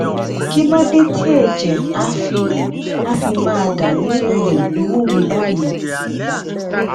kí ló dé tí ẹjẹ á fi á fi máa dà ní um imú mi báyìí